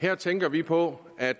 her tænker vi på at